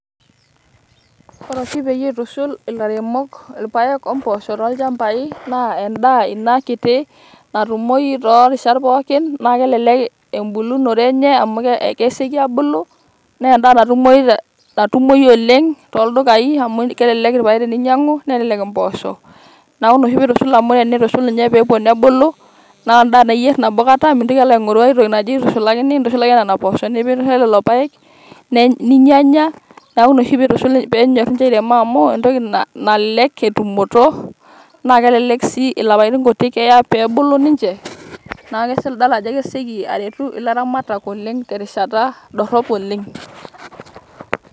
Ore oshi peyie itushul ilairemok irpaek omboosho tolchambai naa endaa ina kiti natumoyu toorishat pookin na kelelek ambulunore enye amu ke kesioki abulu nee endaa natumoyu te natumoyu oleng amu kelelek irpaek teninyiangu ,nelelek impoosho . niaku ina oshi pitushul amu tenishul ninye pepuo nebulu naa endaa naa iyier nabokata mintoki alo aingoru aitoki naitushulakini. intushulaki ake nena poosho olelo paek ninyanya. niaku ina oshi pitushul, penyor nche airemo amu entoki nalelek etumoto naa kelelek si ilapaitin kutik eya pe bulu ninche.